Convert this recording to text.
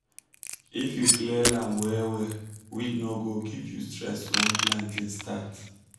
if you clear land well well weed no go give you stress when planting start